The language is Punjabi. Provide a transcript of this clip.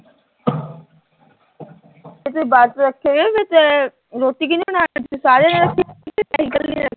ਤੇ ਜੇ ਵਰਤ ਰੱਖਿਆ ਹੋਇਆ ਤਾਂ ਰੋਟੀ ਕੀਹਦੇ ਲਈ ਬਣਾਉਣੀ, ਸਾਰਿਆਂ